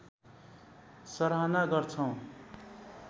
सराहना गर्छौं